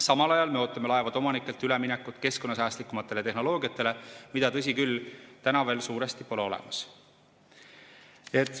Samal ajal ootame laevade omanikelt üleminekut keskkonnasäästlikumatele tehnoloogiatele, mida, tõsi küll, täna veel suuresti pole olemas.